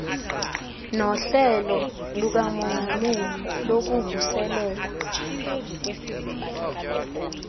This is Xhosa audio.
nohlelo lukamongameli lokuvuselela